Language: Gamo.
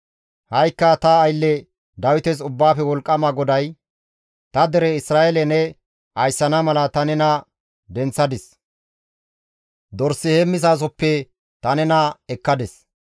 «Ha7ikka ta aylle Dawites Ubbaafe Wolqqama GODAY: Ta dere Isra7eele ne ayssana mala ta nena denththadis; dors heemmizasohoppe ta nena ekkadis.